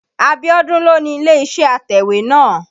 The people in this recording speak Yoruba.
Abíọ́dún ló ni ilé-iṣẹ́ atẹ̀wétà náà.